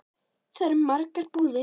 Þar eru margar búðir.